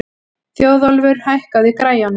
Þjóðólfur, hækkaðu í græjunum.